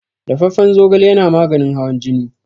Dafaffan zogale yana maganin hawan jini.